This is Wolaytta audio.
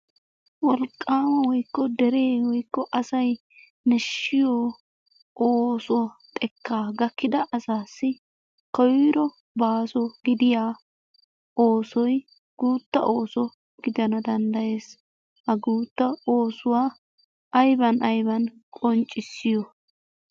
Wolqqama woykko dere woykko asay nashshiyo ooso xekka gakkida asassi koyro baaso gidiya oosoy guutta ooso gidana danddaayees. Ha guutta oosuwa aybban aybban qonccissiyo?